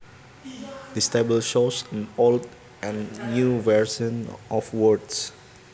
This table shows old and new versions of words